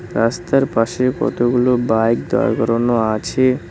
রাস্তার পাশে কতগুলো বাইক দাঁড় করানো আছে।